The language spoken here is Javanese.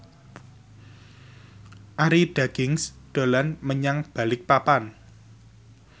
Arie Daginks dolan menyang Balikpapan